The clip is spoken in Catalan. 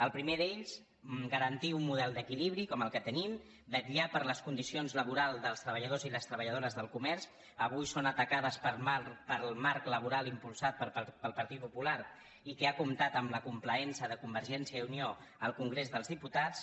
el primer d’ells garantir un model d’equilibri com el que tenim vetllar per les condicions laborals dels treballadors i les treballadores del comerç avui són atacades pel marc laboral impulsat pel partit popular i que ha comptat amb la complaença de convergència i unió al congrés dels diputats